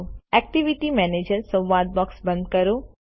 activity manager સંવાદ box બંધ કરો